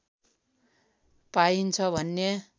पाइन्छ भन्ने